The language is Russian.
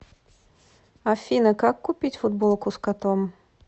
афина как купить футболку с котом